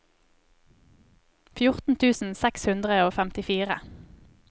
fjorten tusen seks hundre og femtifire